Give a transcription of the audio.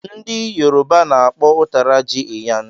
Ndị yourba na-akpọ ụtara jị "iyan"